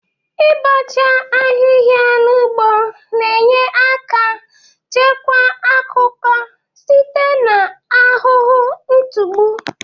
Ị bọcha ahịha n'ugbo na-enye aka chekwa akụkọ site n'ahụhụ ntụgbụ.